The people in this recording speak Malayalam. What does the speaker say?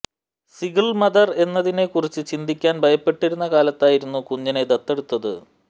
സിഗിൾ മദർ എന്നതിനെ കുറിച്ച് ചിന്തിക്കാൻ ഭയപ്പെട്ടിരുന്ന കാലത്തായിരുന്നു കുഞ്ഞിനെ ദത്തെടുത്തത്